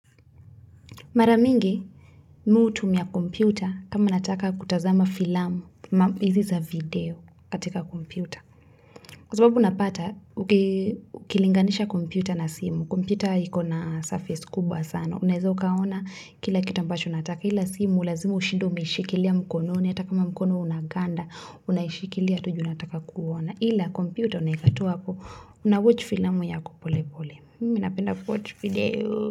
Mara mingi mi hutumia kompyuta kama nataka kutazama filamu, hizi za video katika kompyuta. Kwa sababu unapata, ukilinganisha kompyuta na simu, kompyuta ikona surface kubwa sana. Unawezo ukaona kila kitu ambacho unataka, ila simu lazima ushide umeishikilia mkononi. Hata ka mkononi unaganda, unaishikilia tu ju unataka kuona. Ila kompyuta unaweka tu hapo, unawatch filamu yako polepole. Mi napenda kuwatch video.